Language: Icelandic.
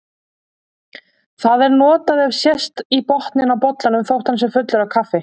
Það er notað ef sést í botninn á bollanum þótt hann sé fullur af kaffi.